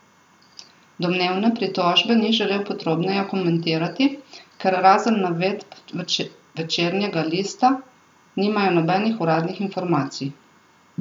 Domnevne pritožbe ni želel podrobneje komentirati, ker razen navedb Večernjega lista nimajo nobenih uradnih informacij.